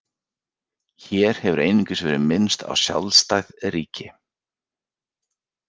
Hér hefur einungis verið minnst á sjálfstæð ríki.